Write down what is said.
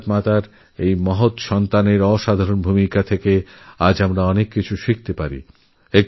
ভারতমাতার এই মহান সন্তানের অসাধারণ জীবন থেকে আমরা বহু কিছু শিখতে পারি